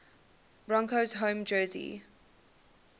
broncos home jersey